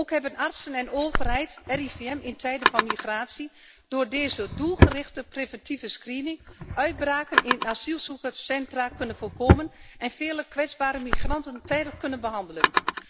Ook hebben artsen en overheid het RIVM in tijden van migratie door deze doelgerichte preventieve screening uitbraken in asielzoekerscentra kunnen voorkomen en vele kwetsbare migranten tijdig kunnen behandelen.